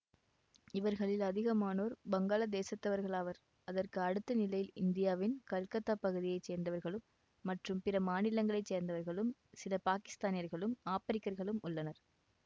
இவர்களில் அதிகமானோர் பங்களாதேசத்தவர்களாவர் அதற்கு அடுத்த நிலையில் இந்தியாவின் கல்கத்தா பகுதியை சேர்ந்தவர்களும் மற்றும் பிற மாநிலங்களை சேர்ந்தவர்களும் சில பாக்கிஸ்தானியர்களும் ஆப்பிரிக்கர்களும் உள்ளனர்